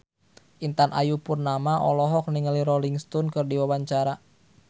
Intan Ayu Purnama olohok ningali Rolling Stone keur diwawancara